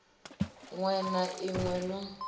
ṅwe na ḽi ṅwe ḽo